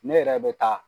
Ne yɛrɛ bɛ taa